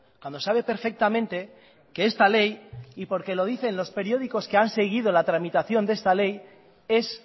cuando sabe perfectamente que esta ley y porque lo dicen los periódicos que han seguido la tramitación de esta ley es